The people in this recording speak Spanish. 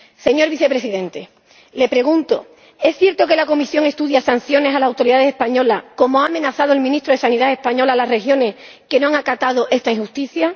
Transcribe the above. Señor Presidente, le pregunto ¿es cierto que la Comisión estudia sanciones a las autoridades españolas ―como ha amenazado el ministro de Sanidad español a las regiones que no han acatado esta injusticia―?